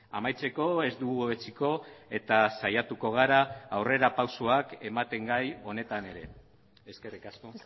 amaitzeko ez dugu etsiko eta saiatuko gara aurrerapausoak ematen gai honetan ere eskerrik asko